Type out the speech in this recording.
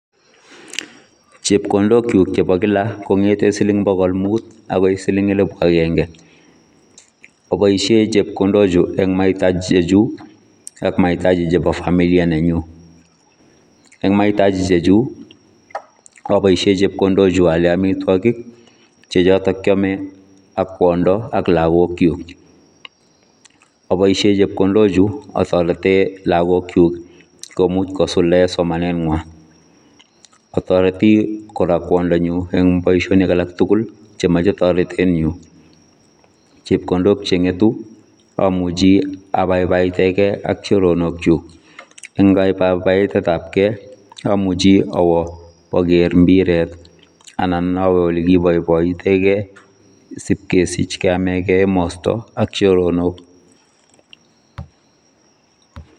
Chepkondook kyuuk chebo kila kongeteen siliing bogol muut agoi elibut agenge aboisheen chepkondook chuu en mahitajii chechuuk ak mahitajii chebo familia nenyun ,en mahitajii chechuuk aboisheen chepkondook chuu aaaleen amitwagiik che chotoon kyame ak kwondoo ak lagook kyuuk aboisheen chepkondook chuu atareteen lagook kyuuk komuuch kosuldaen somanet nywaany ataretii kora kwondonyuun en boisioni alaak tuguul chemachei taretet nyuun chepkondook che ngetuu amuchhii abaibaitengei ak choronok chuuk, eng kabaibaitet ab gei amuchei awoo manager mpireet anan aweeh ole kibaibaitengei siip kesiich emasta ak choronok.